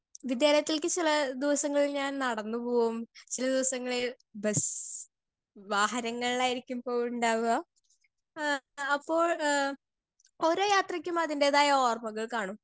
Speaker 2 വിദ്യാലത്തിക്കിള്ള ദിവസങ്ങളിൽ ഞാൻ നടന്ന് പോവും ചില ദിവസങ്ങളിൽ ബസ്സ് വാഹനങ്ങളിലായിരിക്കും പോവിണ്ടാവ എഹ് അപ്പോൾ എഹ് കൊറേ യാത്രക്കും അതിന്റെതായ ഓർമ്മകൾ കാണും.